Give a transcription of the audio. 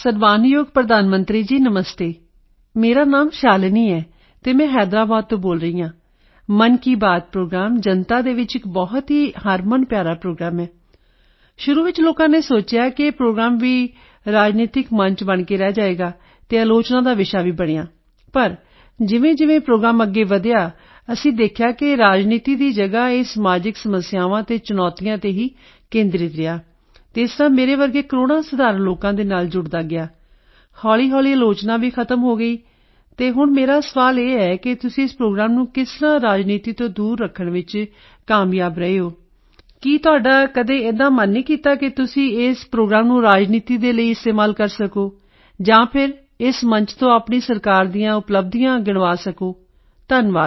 ਸਨਮਾਨਯੋਗ ਪ੍ਰਧਾਨ ਮੰਤਰੀ ਜੀ ਨਮਸਤੇ ਮੇਰਾ ਨਾਮ ਸ਼ਾਲਿਨੀ ਹੈ ਅਤੇ ਮੈਂ ਹੈਦਰਾਬਾਦ ਤੋਂ ਬੋਲ ਰਹੀ ਹਾਂ ਮਨ ਕੀ ਬਾਤ ਪ੍ਰੋਗਰਾਮ ਜਨਤਾ ਦੇ ਵਿੱਚ ਇੱਕ ਬਹੁਤ ਹੀ ਹਰਮਨਪਿਆਰਾ ਪ੍ਰੋਗਰਾਮ ਹੈ ਸ਼ੁਰੂ ਵਿੱਚ ਲੋਕਾਂ ਨੇ ਸੋਚਿਆ ਕਿ ਇਹ ਪ੍ਰੋਗਰਾਮ ਵੀ ਇੱਕ ਰਾਜਨੀਤਕ ਮੰਚ ਬਣ ਕੇ ਹੀ ਰਹਿ ਜਾਵੇਗਾ ਅਤੇ ਆਲੋਚਨਾ ਦਾ ਵਿਸ਼ਾ ਵੀ ਬਣਿਆ ਪਰ ਜਿਵੇਂਜਿਵੇਂ ਇਹ ਪ੍ਰੋਗਰਾਮ ਅੱਗੇ ਵਧਿਆ ਅਸੀਂ ਦੇਖਿਆ ਕਿ ਰਾਜਨੀਤੀ ਦੀ ਜਗ੍ਹਾ ਇਹ ਸਮਾਜਿਕ ਸਮੱਸਿਆਵਾਂ ਅਤੇ ਚੁਣੌਤੀਆਂ ਤੇ ਹੀ ਕੇਂਦਰਿਤ ਰਿਹਾ ਅਤੇ ਇਸ ਤਰ੍ਹਾਂ ਮੇਰੇ ਵਰਗੇ ਕਰੋੜਾਂ ਸਧਾਰਣ ਲੋਕਾਂ ਦੇ ਨਾਲ ਜੁੜਦਾ ਗਿਆ ਹੌਲੀਹੌਲੀ ਆਲੋਚਨਾ ਵੀ ਖਤਮ ਹੋ ਗਈ ਤੇ ਮੇਰਾ ਸਵਾਲ ਇਹ ਹੈ ਕਿ ਤੁਸੀਂ ਇਸ ਪ੍ਰੋਗਰਾਮ ਨੂੰ ਕਿਸ ਤਰ੍ਹਾਂ ਰਾਜਨੀਤੀ ਤੋਂ ਦੂਰ ਰੱਖਣ ਵਿੱਚ ਕਾਮਯਾਬ ਰਹੇ ਹੋ ਕੀ ਤੁਹਾਡਾ ਕਦੇ ਏਦਾਂ ਮਨ ਨਹੀਂ ਕੀਤਾ ਕਿ ਤੁਸੀਂ ਇਸ ਪ੍ਰੋਗਰਾਮ ਨੂੰ ਰਾਜਨੀਤੀ ਦੇ ਲਈ ਇਸਤੇਮਾਲ ਕਰ ਸਕੋ ਜਾਂ ਫਿਰ ਇਸ ਮੰਚ ਤੋਂ ਆਪਣੀ ਸਰਕਾਰ ਦੀਆਂ ਉਪਲੱਬਧੀਆਂ ਗਿਣਵਾ ਸਕੋ ਧੰਨਵਾਦ